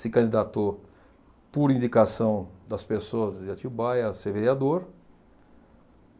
se candidatou por indicação das pessoas de Atibaia a ser vereador.